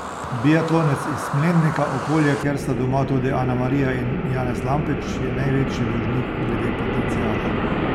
Biatlonec iz Smlednika, okolja, kjer sta doma tudi Anamarija in Janez Lampič, je največji dolžnik glede potenciala.